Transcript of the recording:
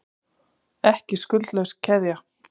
Ekki skuldlaus keðja